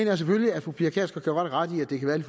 jeg selvfølgelig at fru pia kjærsgaard ret i at det kan